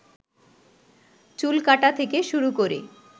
চুলকাটা থেকে শুরু করে